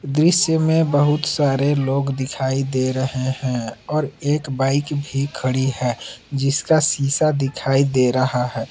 दृश्य में बहुत सारे लोग दिखाई दे रहे हैं और एक बाइक भी खड़ी है जिसका सीसा दिखाई दे रहा है।